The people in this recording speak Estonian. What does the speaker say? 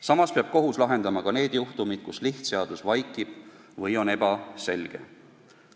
Samas peab kohus lahendama ka need juhtumid, kus lihtseadus vaikib või on ebaselge.